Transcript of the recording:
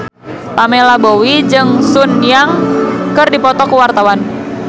Pamela Bowie jeung Sun Yang keur dipoto ku wartawan